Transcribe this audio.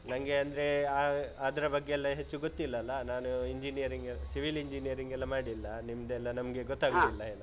ನಂಗೆ ಅಂದ್ರೆ ಆಹ್ ಅದ್ರ ಬಗ್ಗೆ ಎಲ್ಲ ಹೆಚ್ಚು ಗೊತ್ತಿಲ್ಲಲ್ಲ, ನಾನು engineering, civil engineering ಎಲ್ಲ ಮಾಡಿಲ್ಲ ನಿಮ್ದೆಲ್ಲ ನಮ್ಗೆ ಗೊತ್ತಾಗುದಿಲ್ಲ.